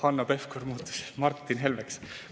Hanno Pevkur muutus Martin Helmeks.